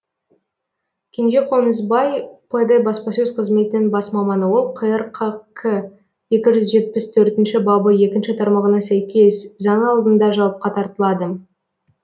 кенже қонысбай пд баспасөз қызметінің бас маманы ол қр қк екі жүз жетпіс төртінші бабы екінші тармағына сәйкес заң алдында жауапқа тартылады